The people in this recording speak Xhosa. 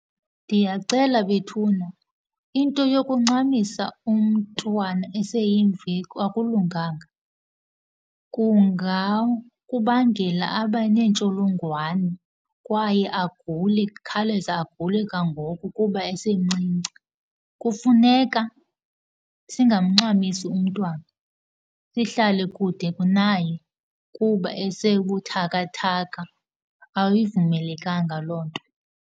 Ndiyacela bethuna, into yokuncamisa umntwana eseyimveku akulunganga. Kubangela abe neentsholongwane kwaye agule, akhawuleze agule kwangoko kuba esemninci. Kufuneka singamncamisi umntwana, sihlale kude kunaye kuba esebuthakathaka. Ayivumelekanga loo nto.